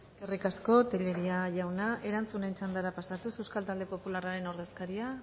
eskerrik asko tellería jauna erantzunen txandara pasatuz euskal talde popularraren ordezkaria